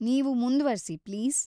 ನೀವು ಮುಂದ್ವರ್ಸಿ, ಪ್ಲೀಸ್.